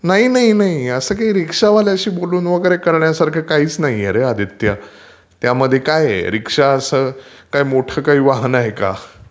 नाही नाही असं काही रिक्षावाल्याशी बोलून वगैरे करण्यासारखं काहीच नाहीये रे आदित्य. त्यामध्ये काय आहे. रीक्षा असं काय मोठं काही वाहनं आहे का?